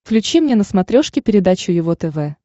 включи мне на смотрешке передачу его тв